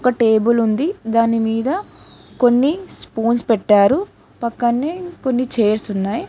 ఒక టేబుల్ ఉంది దాని మీద కొన్ని స్పూన్స్ పెట్టారు పక్కనే కొన్ని చేర్స్ ఉన్నాయి.